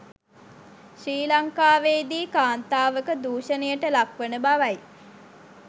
ශ්‍රී ලංකාවේදී කාන්තාවක දූෂණයට ලක් වන බවයි